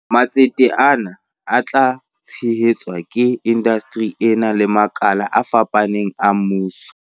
Matsete ana a tla tshehe tswa ke indasteri ena le makala a fapafapaneng a mmuso.